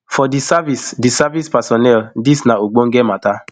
for di service di service personnel dis na ogbonge mata